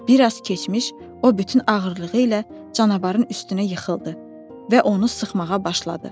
Bir az keçmiş, o bütün ağırlığı ilə canavarın üstünə yıxıldı və onu sıxmağa başladı.